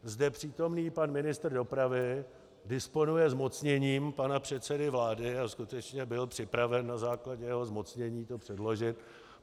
Zde přítomný pan ministr dopravy disponuje zmocněním pana předsedy vlády a skutečně byl připraven na základě jeho zmocnění to předložit.